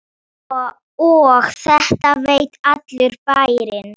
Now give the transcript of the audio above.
Horfir síðan niður fyrir sig.